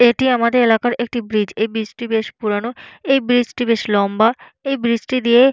এটি আমাদের এলাকার একটি ব্রিজ । এই ব্রিজটি বেশ পুরোনো। এই ব্রিজটি বেশ লম্বা। এই ব্রিজটি দিয়ে --